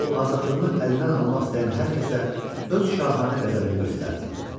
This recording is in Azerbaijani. O azadlığını əlindən almaq istəyən hər kəsə öz şahanə qəzəbini göstərdi.